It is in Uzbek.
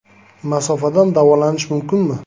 Masofadan davolanish mumkinmi?